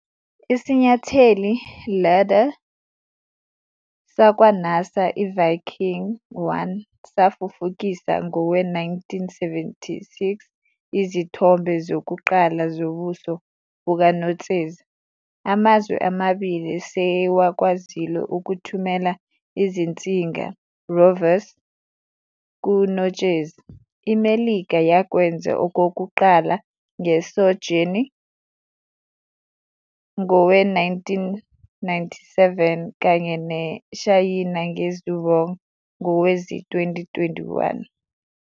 Isinyatheli "lander" sakwa-NASA i-Viking 1 safufukisa ngowe-1976 izithombe zokuqala zobuso bukaNotsezi. Amazwe amabili sewakwazile ukuthumela izinzinga "rovers" kuNotshezi, iMelika yakwenza okokuqala nge-Sojourner ngowe-1997 kanye neShayina nge-Zhurong ngowezi-2021.